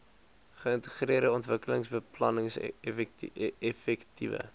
geïntegreerde ontwikkelingsbeplanning effektiewe